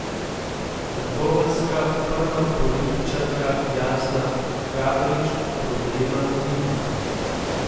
Trboveljska prva političarka Jasna Gabrič problema nima.